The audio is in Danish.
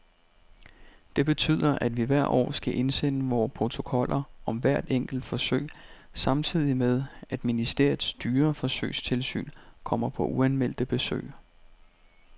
Det betyder, at vi hvert år skal indsende vore protokoller om hvert enkelt forsøg samtidig med, at ministeriets dyreforsøgstilsyn kommer på uanmeldte besøg.